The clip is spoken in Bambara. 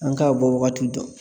An k'a bɔ wagati dɔn